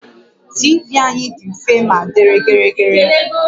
TV anyị dị mfe ma dị gịrịgịrị